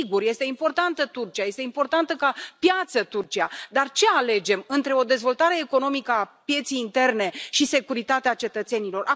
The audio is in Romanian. Sigur, este importantă Turcia, este importantă ca piață Turcia, dar ce alegem între o dezvoltare economică a pieței interne și securitatea cetățenilor?